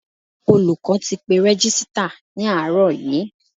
Olùkọ́ ti pe Rẹ́gísítà ní àárọ̀ yí.